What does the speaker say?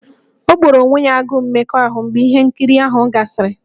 O gboro onwe ya agụụ mmekọahụ mgbe ihe nkiri ahụ gasịrị?